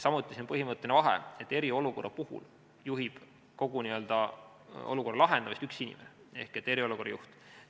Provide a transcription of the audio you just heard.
Samuti on põhimõtteline vahe, et eriolukorra puhul juhib kogu olukorra lahendamist üks inimene ehk eriolukorra juht.